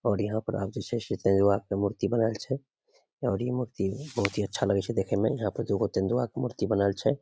और यहां पर आब जे छै से तेंदुआ के मूर्ति बनाल छै और इ मूर्ति बहुत ही अच्छा लगे छै देखे में यहां पर दू गो तेंदुआ के मूर्ति बनाल छै।